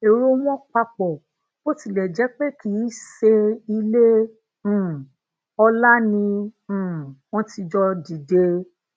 ero won papo bó tilè jé pé kii seile um ola ni um won ti jo dide